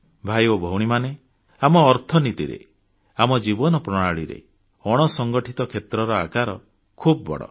ଭାଇ ଓ ଭଉଣୀମାନେ ଆମ ଅର୍ଥବ୍ୟବସ୍ଥାରେ ଆମ ଜୀବନ ପ୍ରଣାଳୀରେ ଅଣସଂଗଠିତ କ୍ଷେତ୍ରର ଆକାର ଖୁବ ବଡ଼